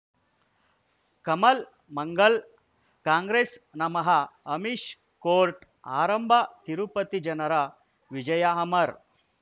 ಕಮಲ್ ಮಂಗಳ್ ಕಾಂಗ್ರೆಸ್ ನಮಃ ಅಮಿಷ್ ಕೋರ್ಟ್ ಆರಂಭ ತಿರುಪತಿ ಜನರ ವಿಜಯ ಅಮರ್